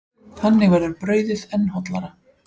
Þannig verður brauðið enn hollara.